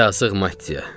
Yazıq Mattya.